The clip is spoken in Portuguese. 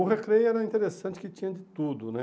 O recreio era interessante que tinha de tudo, né?